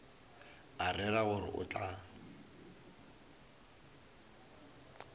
a rera gore o tla